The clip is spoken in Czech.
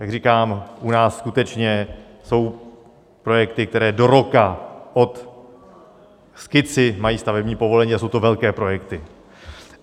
Jak říkám, u nás skutečně jsou projekty, které do roka od skici mají stavební povolení, a jsou to velké projekty.